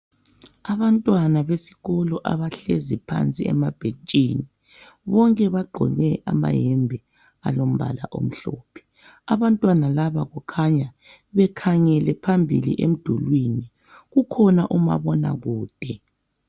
Abantwana besikolo abahlezi phansi emabhentshini. Bonke bagqoke amayembe alombala omhlophe. Abantwana laba bakhanya bekhangele phambili emdulwini. Kukhona umabonakude.